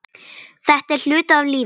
Þetta er hluti af lífinu.